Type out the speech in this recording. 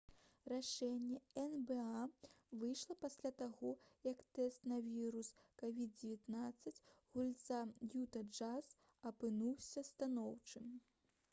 рашэнне нба выйшла пасля таго як тэст на вірус covid-19 гульца «юта джаз» апынуўся станоўчым